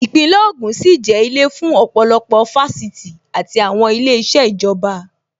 Īpínlè ògùn sì jẹ́ ilé fún ọ̀pọ̀lọpọ̀ Fáṣítì àti àwọn ilé iṣẹ́ ìjọba